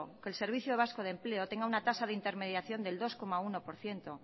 que el servicio vasco de empleo tenga una tasa de intermediación del dos coma uno por ciento